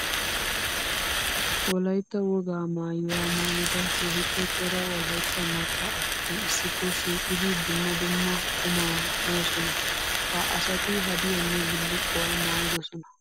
Wolaytta wogaa maayuwa maayidda keehippe cora wolaytta maca asatti issippe shiiqqiddi dumma dumma qumma moosonna. Ha asatti haddiyanne bulukkuwa maayidosonna.